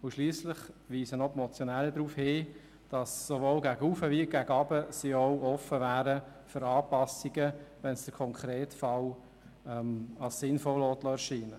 Die Motionäre weisen zudem darauf hin, dass sie für Anpassungen sowohl gegen oben als auch gegen unten offen wären, wenn es im konkreten Fall sinnvoll erscheint.